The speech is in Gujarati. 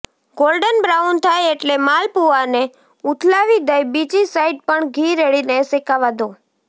ગોલ્ડન બ્રાઉન થાય એટલે માલપૂઆને ઉથલાવી દઈ બીજી સાઈડ પણ ઘી રેડીને શેકાવા દો